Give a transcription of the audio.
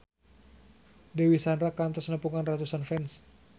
Dewi Sandra kantos nepungan ratusan fans